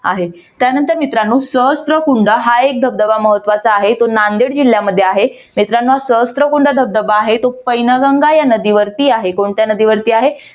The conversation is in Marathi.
आहे त्यानंतर मित्रांनो सहस्त्रकुंड हा एक धबधबा महत्वाचा आहे. तो नांदेड जिल्ह्यामध्ये आहे. मित्रांनो सहस्त्रकुंड धबधबा आहे. तो पैनगंगा या नदीवरती आहे. कोणत्या नदीवरती आहे?